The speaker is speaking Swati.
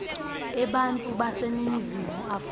ebantfu baseningizimu afrika